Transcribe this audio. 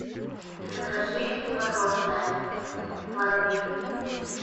закажи мороженое пломбир